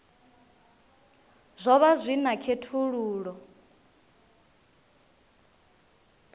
zwo vha zwi na khethululoe